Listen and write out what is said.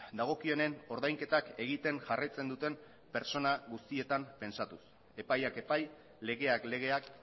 dagokionen ordainketak egiten jarraitzen duten pertsona guztietan pentsatuz epaiak epai legeak legeak